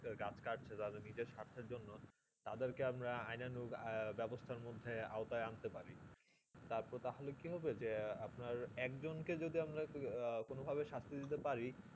গাছ কাটছে নিজের স্বার্থে জন্য তাদের কে আমরা আইনানুক বেবস্তা মধ্যে আউট আনতে পারি তা হলে কি হবে যে কি এক জন কে যদি আমরা কোনো ভাবে শাস্ত্রে দিতে পারি